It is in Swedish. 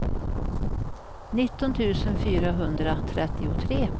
nitton tusen fyrahundratrettiotre